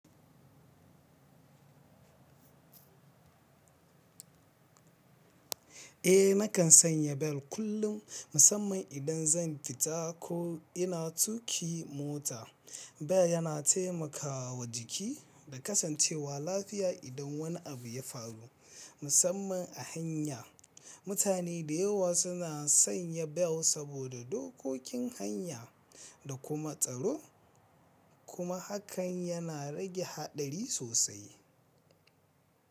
Eh nakan sanya bel kullum, musamman idan zan fita ko ina tuƙi mota. Bel yana taimakawa jiki da kasancewa lafiya idan wani abu ya faru, musamman a hanya. Mutane da yawa suna sanya bel saboda dokokin hanya da kuma tsaro, kuma hakan yana rage haɗari sosai.